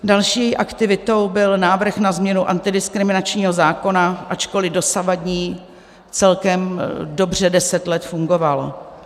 Další aktivitou byl návrh na změnu antidiskriminačního zákona, ačkoli dosavadní celkem dobře deset let fungoval.